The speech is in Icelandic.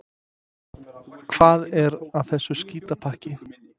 Hvað er að þessu skítapakki?